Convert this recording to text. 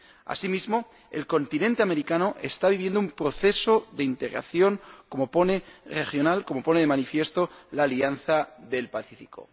Asimismo, el continente americano está viviendo un proceso de integración regional, como pone de manifiesto la Alianza del Pacífico.